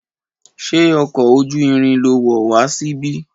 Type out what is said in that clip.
Ṣé ọkọ̀ ojú irin lo wọ̀ wá síbí?